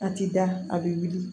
A ti da a bɛ wuli